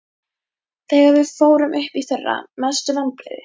Þegar við fórum upp í fyrra Mestu vonbrigði?